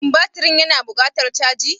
Shin batirin yana buƙatar caji?